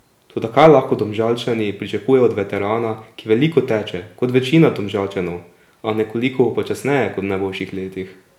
Toda kaj lahko Domžalčani pričakujejo od veterana, ki veliko teče, kot večina Domžalčanov, a nekoliko počasneje kot v najboljših letih?